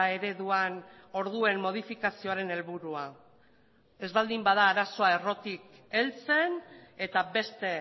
ereduan orduen modifikazioaren helburua ez baldin bada arazoa errotik heltzen eta beste